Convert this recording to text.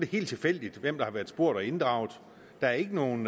helt tilfældigt hvem der er blevet spurgt og inddraget der er ikke nogen